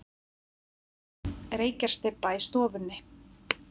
Reykjarstybba í stofunni.